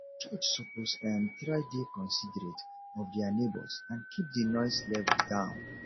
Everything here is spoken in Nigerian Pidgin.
church suppose um try dey considerate of dia neigbhors and keep di noise level down